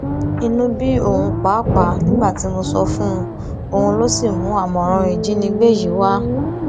inú bí òun pàápàá nígbà tí mo sọ fún un òun ló sì mú àmọràn ìjínigbé yìí wá